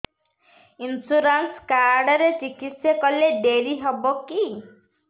insurance card ରେ ଚିକିତ୍ସା କଲେ ଡେରି ହବକି